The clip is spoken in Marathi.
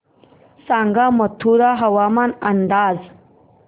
सांगा मथुरा हवामान अंदाज